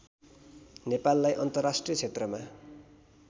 नेपाललाई अन्तर्राष्ट्रिय क्षेत्रमा